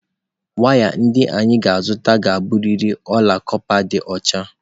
Waya ndị anyị ga-azụta ga-abụrịrị ọla kọpa dị ọcha